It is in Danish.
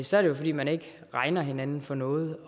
så er det jo fordi man ikke regner hinanden for noget